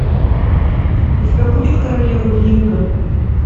у тебя будет королева ринга